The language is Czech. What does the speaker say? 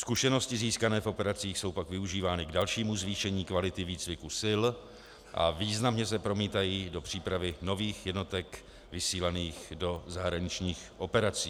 Zkušenosti získané v operacích jsou pak využívány k dalšímu zvýšení kvality výcviku sil a významně se promítají do přípravy nových jednotek vysílaných do zahraničních operací.